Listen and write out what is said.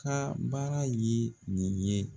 Ka baara ye nin ye